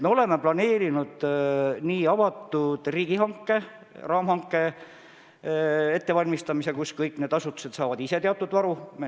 Me oleme planeerinud avatud riigihanke, raamhanke ettevalmistamise, mille abil kõik need asutused saavad teatud varu.